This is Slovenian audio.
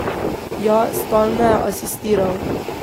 Ja, stalno je asistiral.